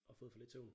Og fået for lidt søvn